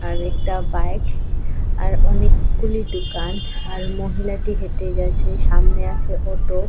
আর একটা বাইক আর অনেকগুলি দুকান আর মহিলাটি হেঁটে যাচ্ছে সামনে আছে অটো ।